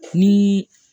Ni